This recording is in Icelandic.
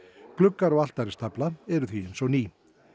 gluggar og altaristafla er því eins og ný